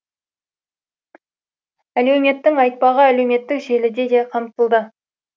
әлеуметтің айтпағы әлеуметтік желіде де қамтылды